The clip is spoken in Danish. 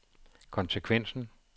konsekvensen